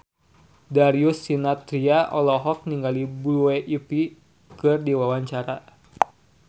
Darius Sinathrya olohok ningali Blue Ivy keur diwawancara